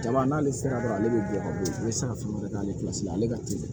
Jaba n'ale sera dɔrɔn ale bɛ bɔ ne bɛ se ka fɛn wɛrɛ k'ale la ale ka teli